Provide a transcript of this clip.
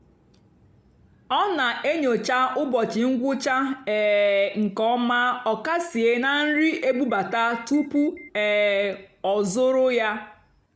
ọ́ nà-ènyócha ụ́bọ̀chị́ ngwụ́chá um nkè ọ́má ọ́kàsìé nà nrì ébúbátá túpú um ọ́ zụ́rụ́ yá.